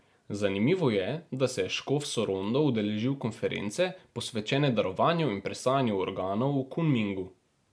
Zanimivo je, da se je škof Sorondo udeležil konference, posvečene darovanju in presajanju organov v Kunmingu.